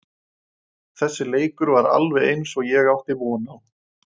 Þessi leikur var alveg eins og ég átti von á.